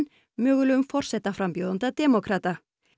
mögulegum forsetaframbjóðanda demókrata